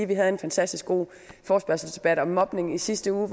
vi havde en fantastisk god forespørgselsdebat om mobning i sidste uge